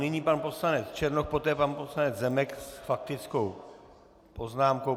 Nyní pan poslanec Černoch, poté pan poslanec Zemek s faktickou poznámkou.